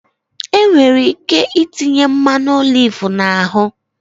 Enwere ike itinye mmanụ oliv na ahụ